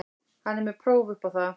Hann er með próf upp á það.